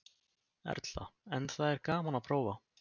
Erla: En það er gaman að prófa?